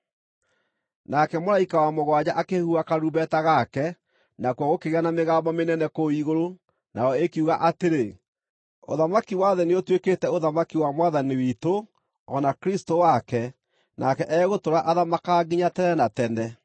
Nake mũraika wa mũgwanja akĩhuha karumbeta gake, nakuo gũkĩgĩa na mĩgambo mĩnene kũu igũrũ, nayo ĩkiuga atĩrĩ: “Ũthamaki wa thĩ nĩũtuĩkĩte ũthamaki wa Mwathani witũ, o na Kristũ wake, nake egũtũũra athamakaga nginya tene na tene.”